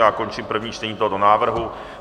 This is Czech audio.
Já končím první čtení tohoto návrhu.